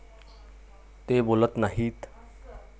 ते बोलत नाहीत.